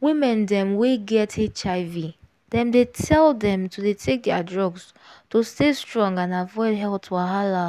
women dem wey get hiv dem dey tell dem to dey take their drugs to stay strong and avoid health wahala.